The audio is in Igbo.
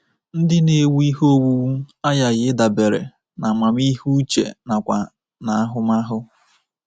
Ndị na-ewu ihe owuwu aghaghị ịdabere n’amamihe uche nakwa n’ahụmahụ.